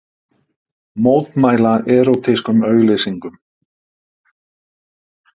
Mótmæla erótískum auglýsingum